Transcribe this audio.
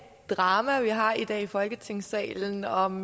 drama vi har i dag i folketingssalen om